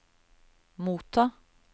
motta